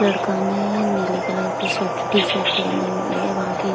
लड़का ने नीले कलर की शर्ट टी-शर्ट पहनी हुई है। वहाँ की --